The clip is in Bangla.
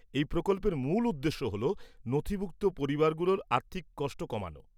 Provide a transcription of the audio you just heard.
এই প্রকল্পের মূল উদ্দেশ্য হ'ল নথিভুক্ত পরিবারগুলোর আর্থিক কষ্ট কমানো।